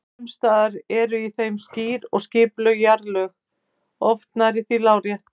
Sums staðar eru í þeim skýr og skipuleg jarðlög, oft nærri því lárétt.